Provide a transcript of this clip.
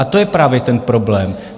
A to je právě ten problém.